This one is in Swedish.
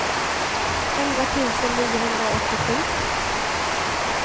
elva tusen niohundraåttiosju